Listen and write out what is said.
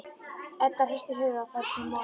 Edda hristir höfuðið og fær sér mola.